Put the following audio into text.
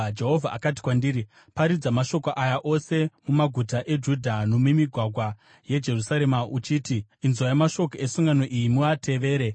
Jehovha akati kwandiri, “Paridza mashoko aya ose mumaguta eJudha nomumigwagwa yeJerusarema uchiti, ‘Inzwai mashoko esungano iyi muatevere.